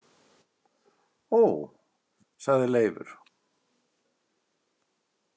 Ó, sagði Leifur.